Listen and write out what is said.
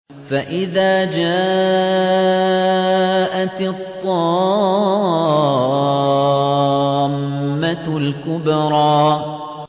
فَإِذَا جَاءَتِ الطَّامَّةُ الْكُبْرَىٰ